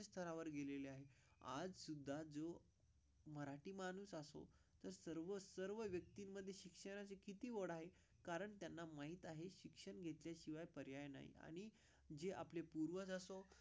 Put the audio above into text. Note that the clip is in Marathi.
सहावर गेलेली आहे. आज सुद्धा जो. मराठी माणूस असो तर सर्व सर्व व्यक्तीमध्ये शिक्षणाचे किती गोड आहे कारण त्यांना माहित आहे. शिक्षण घेतल्याशिवाय पर्याय नाही आणि जे आपले पूर्वज असतो.